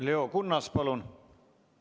Leo Kunnas, palun!